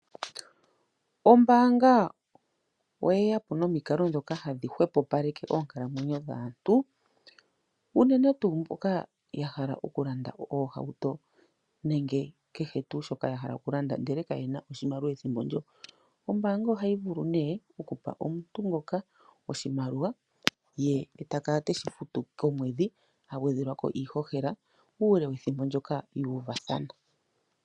Ombaanga oyeya po nomikalo ndhoka hadhi hwepopaleke oonkalamwenyo dhaantu unene tuu mboka ya hala okulanda oohauto nenge kehe tuu shoka ya hala okulanda ndele kaye na oshimaliwa ethimbo ndjoka. Ombaanga ohayi vulu nee okupa omuntu ngoka oshimaliwa ye ta kala teshi futu komwedhi hagwedhelwa ko iihohela uule wethimbo ndyoka ya uvathana.